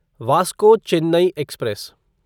Vasco Chennai express